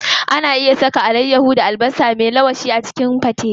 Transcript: Ana iya saka alayyaho da albasa me ganyen a cikin gwate.